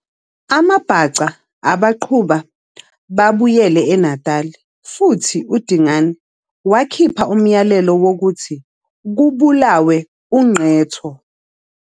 AmaBhaca abaqhuba babuyele eNatal futhi uDingane wakhipha umyalelo wokuthi kubulawe uNqetho.